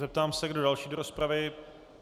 Zeptám se, kdo další do rozpravy.